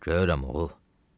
Görürəm, oğul.